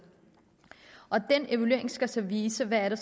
og den evaluering skal så vise hvad